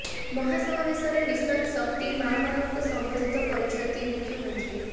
ମହାସମାବେଶରେ mission Shakti ମା ମାନଙ୍କୁ ସମ୍ବୋଧିତ କରିଛନ୍ତି ମୁଖ୍ୟମନ୍ତ୍ରୀ